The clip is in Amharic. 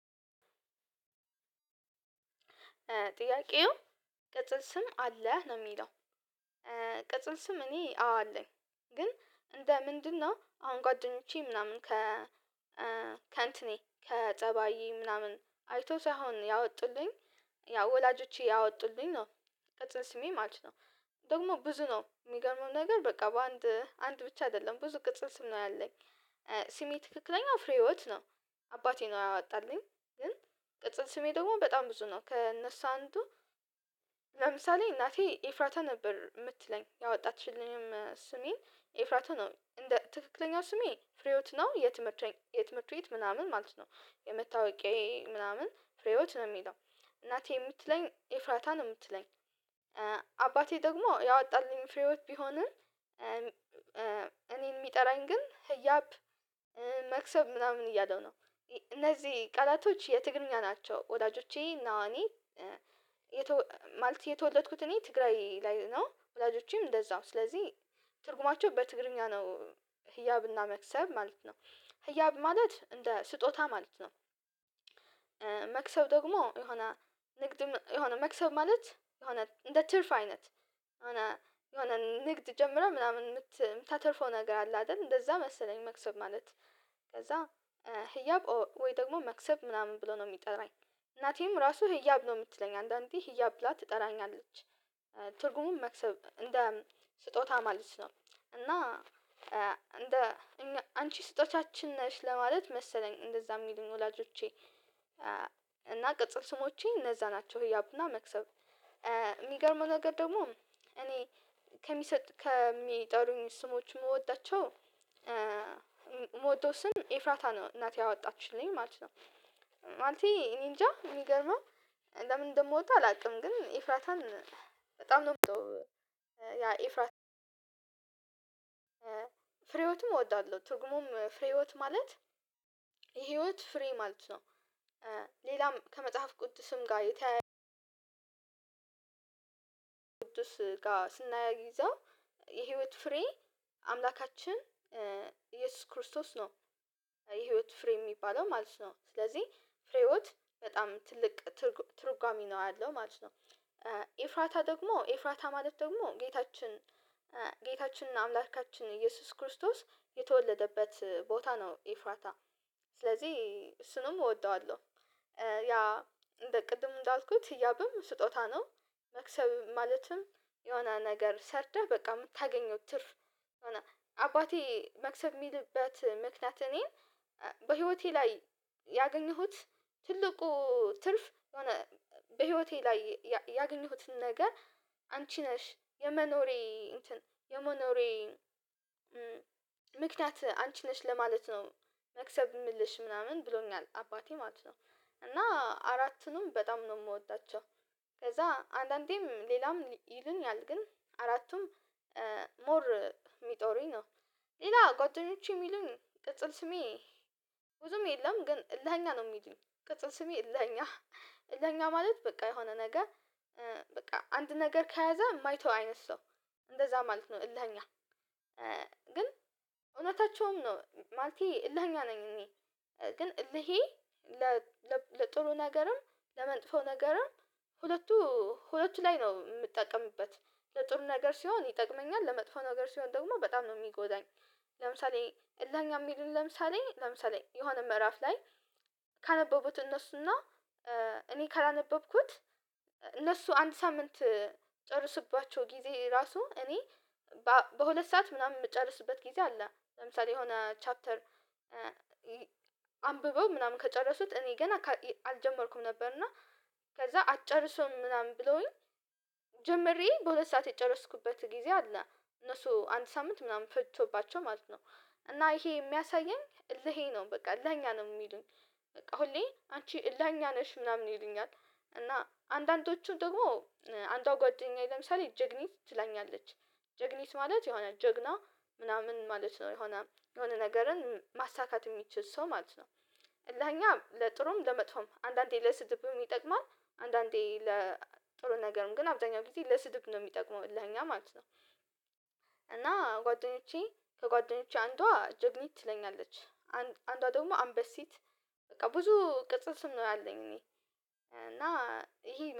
ጥያቄው ቅጽል ስም አለህ ነው የሚለው ቅጽል ስም እኔ አዎ አለኝ ግን እንደ ምንድነው? አሁን ጓደኞቼ ምናምን ከጸባዬ ምናምን አይተው ሳይሆን ያወጡልኝ። ያው ወላጆቼ ያወጡልኝ ነው ቅጽል ስሜ ማለት ነው። ደግሞ ብዙ ነው የሚገርመው ነገር በቃ በአንድ አንድ ብቻ አይደለም ብዙ ቅጽል ስም ነው ያለኝ። ስሜ ትክክለኛው ፍሬ ህይወት ነው አባቴ ነው ያወጣልኝ። ግን ቅጽል ስሜ ደግሞ በጣም ብዙ ነው ከእነሱ አንዱ። ለምሳሌ እናቴ ኤፍራታ ነበር የምትለኝ ያወጣችልኝም ስሜ ኤፍራታ ነው እንደ ትክክለኛው ስሜ ፍሬውት ነው። የትምህርት ቤት ምናምን ማለት ነው የመታወቂያዬ ምናምን ፍሬህይወት ነው የሚለው እናቴ የምትለኝ ኤፍራታ ነው የምትለኝ። አባቴ ደግሞ ያወጣልኝ ፍሬህይወት ቢሆንም እኔን የሚጠራኝ ግን ህያብ መክሰብ ምናምን እያለ ነው። እነዚህ ቃላቶች የትግርኛ ናቸው ወላጆቼ እና እኔ። ማለት የተወለድኩት እኔ ትግራይ ላይ ነው ወዳጆቼም እንደዛው ስለዚህ ትርጉማቸው በትግርኛ ነው። ህያብና መክሰብ ማለት ነው ህያብ ማለት እንደ ስጦታ ማለት ነው። መክሰብ ደግሞ የሆነ ንግድ የሆነ መክሰብ ማለት የሆነ እንደ ትርፍ አይነት የሆነ የሆነ ንግድ ጀምረህ ምናምን የምታተርፈው ነገር አለ አይደል እንደዛ መሰለኝ መክሰብ ማለት። ከዛ ህያብ ወይ ደግሞ መክሰብ ምናምን ብሎ ነው የሚጠራኝ እናቴም ራሱ ህያብ ነው የምትለኝ አንዳንዴ ህያብ ብላ ትጠራኛለች። ትርጉሙን መክሰብ እንደ ስጦታ ማለት ነው። እና እንደ አንቺ ስጦታችን ነሽ ለማለት መሰለኝ እንደዛ የሚሉኝ ወላጆቼ። እና ቅጽል ስሞቼ እነዛ ናቸው ህያብና መክሰብ። የሚገርመው ነገር ደግሞ እኔ ከሚጠሩኝ ስሞች የምወዳቸው ምወደው ሰም ኤፍራታ ነው እናቴ ያወጣችልኝ ማለት ነው። ማለቴ እኔ እንጃ ሚገርመው ለምን እንደምወደው አላውቅም ግን ኢፍራታን በጣም ነው የምወደው። ያ ኤፍራታ ፍሬህይወት እወዳለሁ ትርጉሙም ፍሬህይወት ማለት የህይወት ፍሬ ማለት ነው። ሌላም ከመጽሐፍ ቅድስም ጋር የተያያዘ ቅዱስ ጋር ስስናያይዘው የህይወት ፍሬ አምላካችን ኢየሱስ ክርስቶስ ነው። የህይወት ፍሬ የሚባለው ማለት ነው ስለዚህ ፍሬህይወት በጣም ትልቅ ትርጓሜ ነው ያለው ማለት ነው። ኤፍራታ ደግሞ ኤፍራታ ማለት ደግሞ ጌታችን እና አምላካችን ኢየሱስ ክርስቶስ የተወለደበት ቦታ ነው ኤፍራታ። ስለዚህ እሱንም እወደዋለሁ ያ እንደ ቅድም እንዳልኩት ህያብም ስጦታ ነው። መክሰብ ማለትም የሆነ ነገር ሰረተህ በቃ የምታገኘው ትርፍ። አባቴ መክሰብ የሚልበት ምክንያት እኔን በህይወቴ ላይ ያገኘሁት ትልቁ ትርፍ የሆነ በህይወቴ ላይ ያገኘሁትን ነገር አንቺ ነሽ የመኖሬ እንትን የመኖሬ ምክንያት አንቺ ነሽ ለማለት ነው። መክሰብ የምልሽ ምናምን ብሎኛል አባቴ ማለት ነው። እና አራቱንም በጣም ነው የምወዳቸው። ከዛ አንዳንዴም ሌላም ይሉኛል ግን አራቱም ሞር የሚጠሩኝ ነው። ሌላ ጓደኞቼ የሚሉን ቅጽል ስሜ ብዙም የለም ግን ዕልህኛ ነው የሚሉኝ ቅጽል ስሜ ዕልህኛ። ዕልህኛ ማለት በቃ የሆነ ነገ በቃ አንድ ነገር ከያዘ የማይተው አይነት ሰው እንደዛ ማለት ነው ዕልህኛ። ግን እውነታቸውም ነው ማለቴ ዕልሄ ነኝ እኔ። ግን ይሄ ለጥሩ ነገርም ለመጥፎ ነገርም ሁለቱ ሁለቱ ላይ ነው የምጠቀምበት ለጥሩ ነገር ሲሆን ይጠቅመኛል ለመጥፎ ነገር ሲሆን ደግሞ በጣም ነው የሚጎዳኝ። ለምሳሌ እልህኛ የሚሉኝ ለምሳሌ ለምሳሌ የሆነ ምዕራፍ ላይ ካነበቡት እነሱና እኔ ካላነበብኩት እነሱ አንድ ሳምንት ጨርሶባቸው ጊዜ ራሱ እኔ በሁለት ሰዓት ምናምን የምጨርስበት ጊዜ አለ። ለምሳሌ የሆነ ቻፕተር አንብበው ምናምን ከጨረሱት እኔ ገና አልጀመርኩም ነበር እና ከዛ አጨርሰውም ምናምን ብለውኝ ጀምሬ በሁለት ሰዓት የጨረስኩበት ጊዜ አለ። እነሱ አንተ ሳምንት ምናምን ፈጅቶባቸው ማለት ነው። እና ይሄ የሚያሳየኝ እልሄ ነው በቃ እልህኛ ነው የሚሉኝ። በቃ ሁሌ አንቺ እልህኛ ነሽ ምናምን ይሉኛል። እና አንዳንዶቹ ደግሞ አንዷ ጓደኛዬ ለምሳሌ ጀግኒ ትላኛለች። ጀግኒት ማለት የሆነ ጀግና ምናምን ማለት ነው የሆነ የሆነ ነገርን ማሳካት የሚችል ሰው ማለት ነው። እልህኛ ለጥሩም ለመጥፎም አንዳንዴ ለስድብም ይጠቅማል አንዳንዴ ለጥሩ ነገርም ግን አብዛኛው ጊዜ ለስድብ ነው የሚጠቅመው እልህኛ ማለት ነው። እና ጓደኞቼ ከጓደኞቼ አንዷ ጀግኒ ትለኛለች። አንዷ ደግሞ አንበሲት በቃ ብዙ ቅጽል ስም ነው ያለኝ እኔ እና ይሄ